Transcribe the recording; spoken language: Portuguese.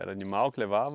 Era animal que levava?